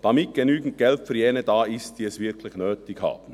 Damit genügend Geld für jene da ist, die es wirklich nötig haben.